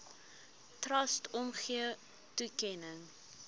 trust omgee toekenning